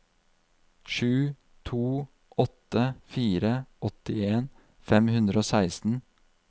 sju to åtte fire åttien fem hundre og seksten